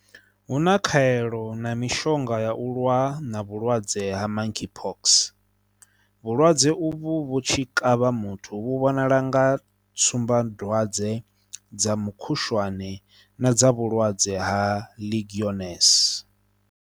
Hu na khaelo na mishonga ya u lwa na vhulwadze ha Monkeypox. Vhulwadze uvhu vhu tshi kavha muthu vhu vhonala nga tsumbadwadze dza mukhushwane na dza vhulwadze ha Legionnaires.